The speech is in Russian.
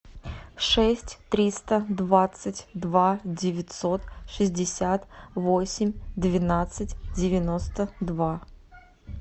шесть триста двадцать два девятьсот шестьдесят восемь двенадцать девяносто два